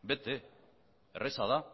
bete erraza da